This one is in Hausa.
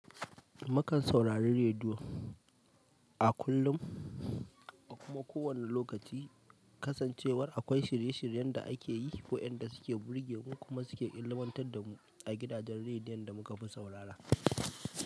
Mukan saurari rediyo a kullum a kuma ko wane lokaci. Kasancewar akwai shirye-shiryen da ake yi ko waƴanda suke burge mu, kuma suke ilmantar da mu a gidajen rediyon da muka fi saurara.